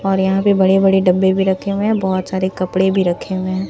और यहां पे बड़े बड़े डब्बे भी रखे हुए हैं बहोत सारे कपड़े भी रखे हुए हैं।